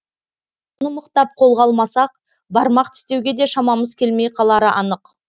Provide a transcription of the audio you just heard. мұны мықтап қолға алмасақ бармақ тістеуге де шамамыз келмей қалары анық